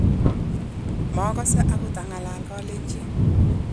makose akot ang'alan Kalenjin